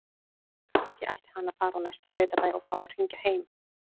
Kannski ætti hann að fara á næsta sveitabæ og fá að hringja heim?